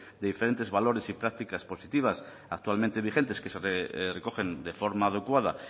de diferentes valores y prácticas positivas actualmente vigentes que se recogen de forma adecuada